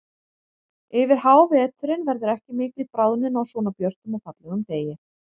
Yfir háveturinn verður ekki mikil bráðnun á svona björtum og fallegum degi.